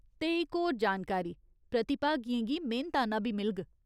ते इक होर जानकारी, प्रतिभागियें गी मेह्‌नताना बी मिलग।